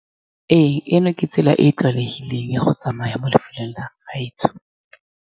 Ee, eno ke tsela e e tlwaelegileng ya go tsamaya mo lefelong la gaetsho.